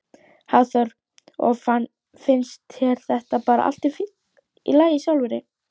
Hafþór: Og finnst þér þetta bara allt í lagi sjálfri?